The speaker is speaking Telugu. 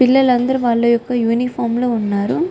పిల్లల్లు అందరు వాల ఒక ఉనిఫోరం లో వున్నారు.